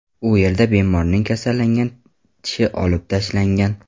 U yerda bemorning kasallangan tishi olib tashlangan.